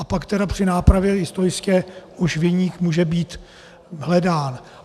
A pak tedy při nápravě historické už viník může být hledán.